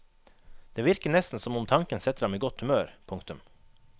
Det virker nesten som om tanken setter ham i godt humør. punktum